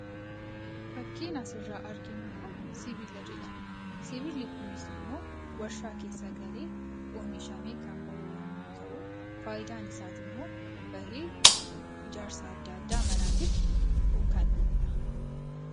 Fakkiin asirraa arginu kun sibiila jedhama. Sibiilli kunis immoo warshaa keessa galee oomishamee kan ba'u yommuu ta'u, faayidaan isaa immoo bahee ijaarsa adda addaa manaatiif kan ooluu dha.